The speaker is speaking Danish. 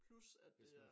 Plus at det er